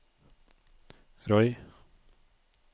Roy